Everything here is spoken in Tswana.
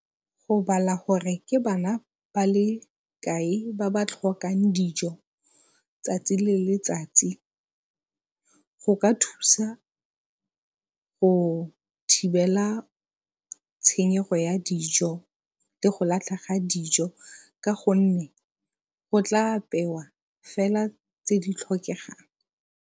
Go bala gore ke bana ba le kae ba ba tlhokang dijo tsatsi le letsatsi go ka thusa go thibela tshenyego ya dijo le go latlha ga dijo ka go nne go tla apewa fela tse di tlhokegang.